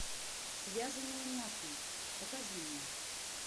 связанные насмерть покажи мне